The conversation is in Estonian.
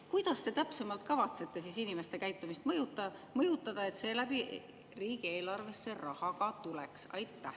Kuidas te täpsemalt kavatsete siis inimeste käitumist mõjutada, et seeläbi riigieelarvesse raha ka tuleks?